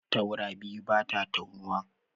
Taura biyu bata taunuwa.